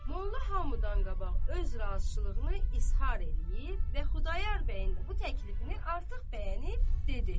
Molla hamıdan qabaq öz razılığını izhar eləyib və Xudayar bəyin də bu təklifini artıq bəyənib dedi: